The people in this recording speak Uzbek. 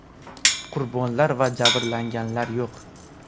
Qurbonlar va jabrlanganlar yo‘q.